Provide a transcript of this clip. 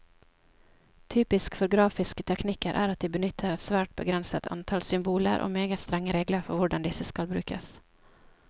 Typisk for grafiske teknikker er at de benytter et svært begrenset antall symboler, og meget strenge regler for hvordan disse skal brukes.